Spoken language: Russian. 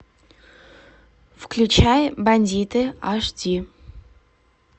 включай бандиты аш ди